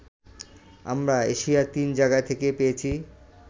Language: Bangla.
আমরা এশিয়ার তিন জায়গা থেকে পেয়েছি